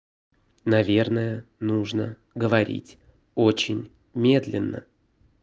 наверное нужно говорить очень медленно